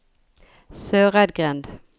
Søreidgrend